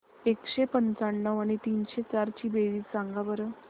एकशे पंच्याण्णव आणि तीनशे चार ची बेरीज सांगा बरं